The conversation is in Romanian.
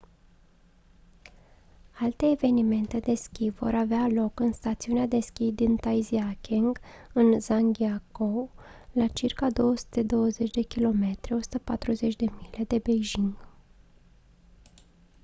alte evenimente de schi vor avea loc în stațiunea de schi din taizicheng în zhangjiakou la circa 220 km 140 mile de beijing